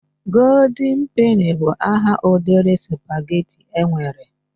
Golden peni bụ aha ụdịrị spaghetti e nwere.